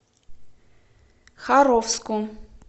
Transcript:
харовску